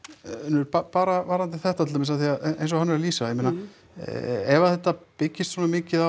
Unnur bara varðandi þetta til dæmis af því að eins og hann lýsir ég meina ef þetta byggist svona mikið á